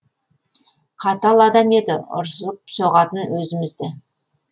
қатал адам еді ұрсылып соғатын өзімізді